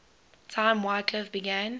time wycliffe began